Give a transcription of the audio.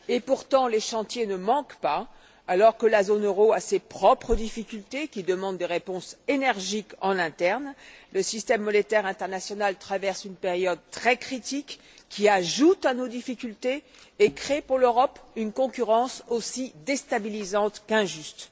Et pourtant les chantiers ne manquent pas! Alors que la zone euro a ses propres difficultés qui demandent des réponses énergiques en interne, le système monétaire international traverse une période très critique qui ajoute à nos difficultés et crée pour l'Europe une concurrence aussi déstabilisante qu'injuste.